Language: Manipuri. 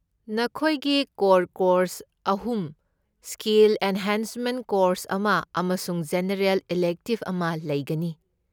ꯅꯈꯣꯏꯒꯤ ꯀꯣꯔ ꯀꯣꯔꯁ ꯑꯍꯨꯝ , ꯁ꯭ꯀꯤꯜ ꯑꯦꯟꯍꯦꯟꯁꯃꯦꯟꯠ ꯀꯣꯔꯁ ꯑꯃ , ꯑꯃꯁꯨꯡ ꯖꯦꯅꯔꯦꯜ ꯏꯂꯦꯛꯇꯤꯕ ꯑꯃ ꯂꯩꯒꯅꯤ꯫